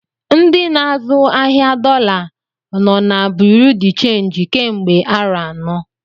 Ndị n'azụ ahịa dọla nọ na Bureau de change kemgbe arọ anọ.